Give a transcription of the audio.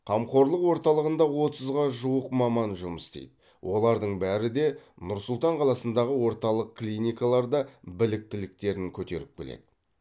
қамқорлық орталығында отызға жуық маман жұмыс істейді олардың бәрі де нұр сұлтан қаласындағы орталық клиникаларда біліктіліктерін көтеріп келеді